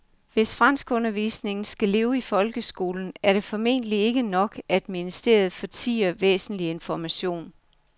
Hvis franskundervisningen skal leve i folkeskolen er det formentlig ikke nok, at ministeriet ikke fortier væsentlig information.